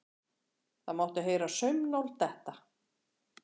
Það mátti heyra saumnál detta.